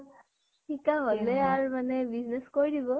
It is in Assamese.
শিকা হʼলে আৰু মানে business কৰি দিব ।